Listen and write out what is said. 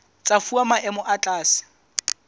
tsa fuwa maemo a tlase